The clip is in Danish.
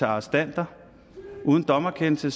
arrestanter uden dommerkendelse